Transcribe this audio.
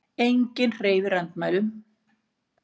Enginn hreyfir andmælum.